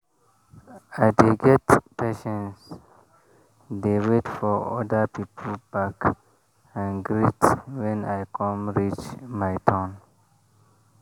i dey get patience dey wait for oda people back and greet when e come reach my turn.